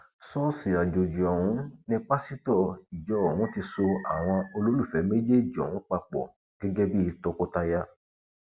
ṣọọṣì àjọjì ọhún ni pásítọ ìjọ ọhún ti so àwọn olólùfẹ méjèèjì ọhún papọ gẹgẹ bíi tọkọtaya